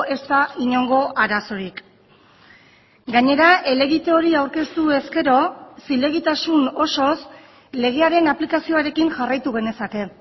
ez da inongo arazorik gainera helegite hori aurkeztu ezkero zilegitasun osoz legearen aplikazioarekin jarraitu genezake